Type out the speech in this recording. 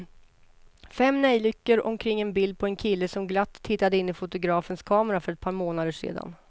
Fem neljikor omkring ett bild på en kille som glatt tittade in i skolfotografens kamera för ett par månader sedan.